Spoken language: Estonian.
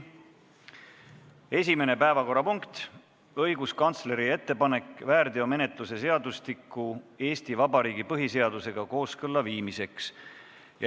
Esimene neist on õiguskantsleri ettepanek väärteomenetluse seadustiku Eesti Vabariigi põhiseadusega kooskõlla viimiseks.